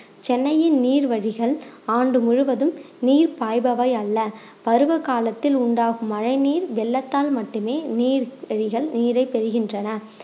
சென்னையின் நீர் வழிகள் ஆண்டு முழுவதும் நீர் பாய்பவை அல்ல பருவ காலத்தில் உண்டாகும் மழைநீர் வெள்ளத்தால் மட்டுமே நீர் வழிகள் நீரை பெறுகின்றன